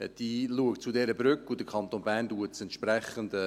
Safnern schaut zu dieser Brücke, und der Kanton Bern macht es entsprechend.